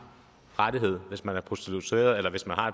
rettighed hvis man er prostitueret eller hvis man har